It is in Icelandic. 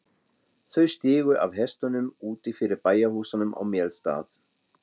Þau stigu af hestunum úti fyrir bæjarhúsunum á Melstað.